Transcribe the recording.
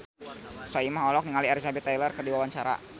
Soimah olohok ningali Elizabeth Taylor keur diwawancara